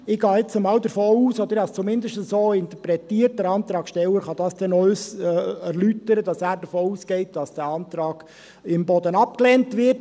Ich gehe jetzt mal davon aus – ich habe es zumindest so interpretiert, der Antragssteller kann es dann noch erläutern –, dass er davon ausgeht, dass der Antrag Imboden abgelehnt wird.